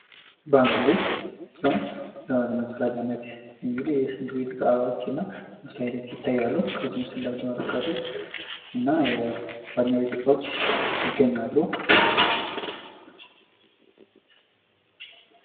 ባኞ ቤት ሲሆን ያው ለመጸዳጃነት እንግድህ የሽንት ቤት እቃዎች እና መስታወቶች ይታያሉ። ከዚህ ምስል እንደምትመለከቱት እና የባኞ ቤት እቃዎች ይገኛሉ።